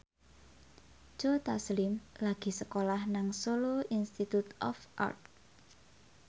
Joe Taslim lagi sekolah nang Solo Institute of Art